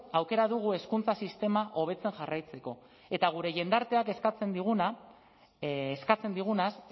aukera dugu hezkuntza sistema hobetzen jarraitzeko eta gure jendarteak eskatzen digunaz